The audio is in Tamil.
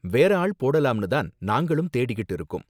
வேற ஆள் போடலாம்னு தான் நாங்களும் தேடிக்கிட்டு இருக்கோம்